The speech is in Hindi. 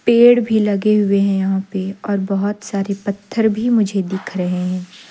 पेड़ भी लगे हुए हैं यहां पे और बहोत सारे पत्थर भी मुझे दिख रहे हैं।